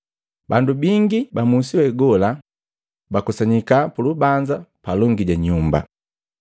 Bandu bingi ba musi wegola bakusanyika pulubanza palongi ja nyumba.